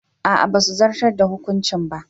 A'a basu zartar da hukuncin ba.